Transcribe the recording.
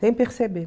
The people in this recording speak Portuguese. Sem perceber.